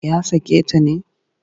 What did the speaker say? Ya sake ta ne?